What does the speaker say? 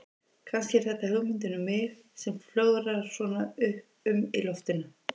Kannski er þetta hugmyndin um mig sem flögrar svona um í loftinu.